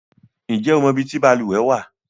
Ǹjẹ́ o mọ ibi tí balùwẹ̀ wà?